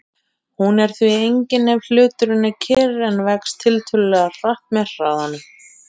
Hún er því engin ef hluturinn er kyrr en vex tiltölulega hratt með hraðanum.